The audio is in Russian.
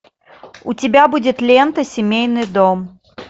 у тебя будет лента семейный дом